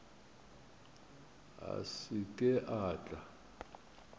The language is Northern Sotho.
a se ke a tla